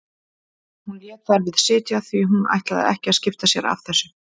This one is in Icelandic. Hún lét þar við sitja því hún ætlaði ekki að skipta sér af þessu.